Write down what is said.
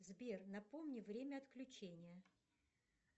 сбер напомни время отключения